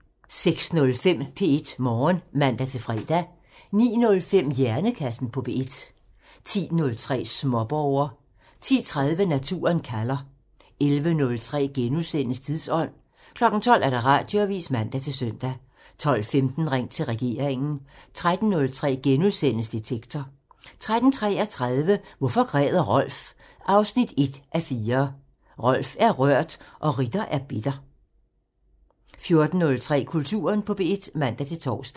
06:05: P1 Morgen (man-fre) 09:05: Hjernekassen på P1 (man) 10:03: Småborger (man) 10:30: Naturen kalder (man) 11:03: Tidsånd *(man) 12:00: Radioavisen (man-søn) 12:15: Ring til regeringen (man) 13:03: Detektor *(man) 13:33: Hvorfor græder Rolf? 1:4 – Rolf er rørt og Ritter er bitter 14:03: Kulturen på P1 (man-tor)